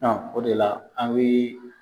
o de la an bi